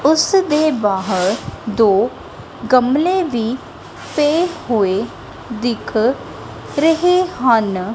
ਉਸਦੇ ਬਾਹਰ ਦੋ ਗਮਲੇ ਵੀ ਪਏ ਹੋਏ ਦਿੱਖ ਰਹੇ ਹਨ।